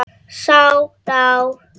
Sá ná